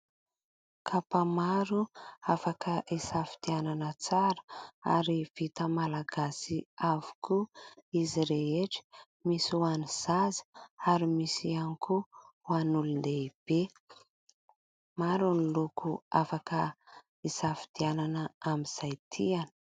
Kapa maro afaka hisafidianana tsara ary vita malagasy avokoa izy rehetra ; misy ho an'ny zaza ary misy ihany koa ho an'ny olona lehibe. Maro ny loko afaka hisafidianana amin'izay tiana.